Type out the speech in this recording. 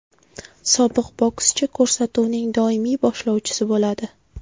Sobiq bokschi ko‘rsatuvning doimiy boshlovchisi bo‘ladi.